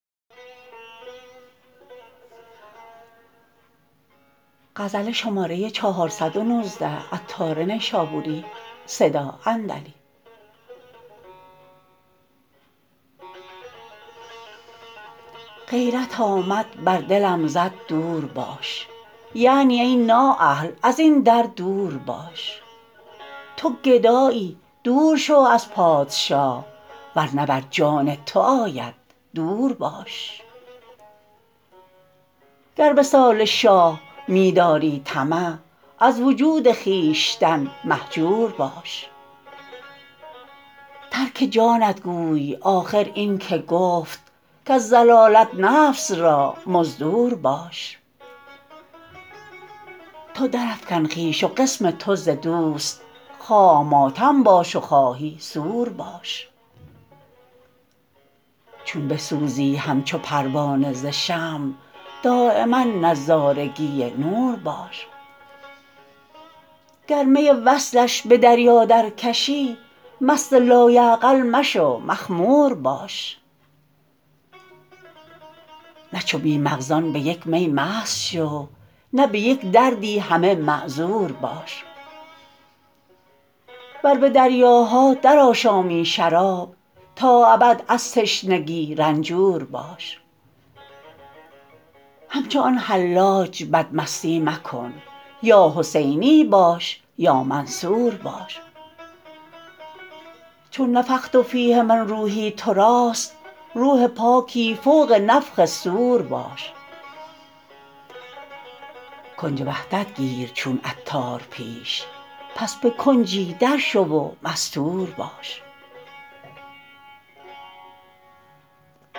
غیرت آمد بر دلم زد دور باش یعنی ای نااهل ازین در دور باش تو گدایی دور شو از پادشاه ورنه بر جان تو آید دور باش گر وصال شاه می داری طمع از وجود خویشتن مهجور باش ترک جانت گوی آخر این که گفت کز ضلالت نفس را مزدور باش تو درافکن خویش و قسم تو ز دوست خواه ماتم باش و خواهی سور باش چون بسوزی همچو پروانه ز شمع دایما نظارگی نور باش گر می وصلش به دریا درکشی مست لایعقل مشو مخمور باش نه چو بی مغزان به یک می مست شو نه به یک دردی همه معذور باش ور به دریاها درآشامی شراب تا ابد از تشنگی رنجور باش همچو آن حلاج بدمستی مکن یا حسینی باش یا منصور باش چون نفخت فیه من روحی توراست روح پاکی فوق نفخ صور باش کنج وحدت گیر چون عطار پیش پس به کنجی درشو و مستور باش